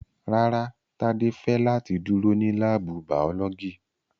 Rárá, Tade fẹ lati duro ni laabu baolọgi